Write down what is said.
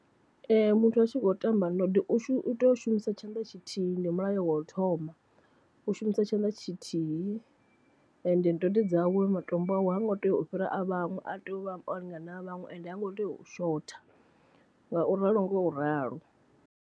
Muthu a tshi khou tamba ndode u tea u shumisa tshanḓa tshithihi ndi mulayo wa u thoma, u shumisa tshanḓa tshithihi ende ndode dzawe matombo awe ha ngo tea u fhira a vhaṅwe a tea u vha o lingana na vhaṅwe ende ha ngo tea u shotha ngauri ralo ngo ralo.